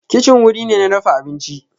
Kicin wuri ne na dafa abinci